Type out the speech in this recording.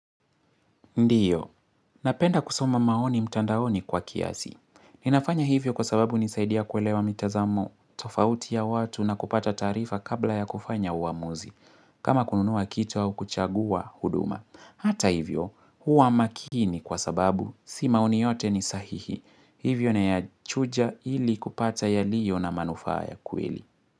Ndiyo, napenda kusoma maoni mtandaoni kwa kiasi. Ninafanya hivyo kwa sababu hunisaidia kuelewa mitazamo tofauti ya watu na kupata taarifa kabla ya kufanya uamuzi. Kama kununua kitu au kuchagua huduma. Hata hivyo, huwa makini kwa sababu, si maoni yote ni sahihi. Hivyo nayachuja ili kupata yaliyo na manufaa ya kweli.